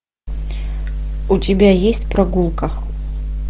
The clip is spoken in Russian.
у тебя есть прогулка